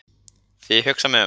Þegar ég hugsa mig um: